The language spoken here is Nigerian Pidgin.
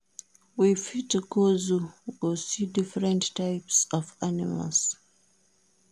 We fit go zoo go see different types of animals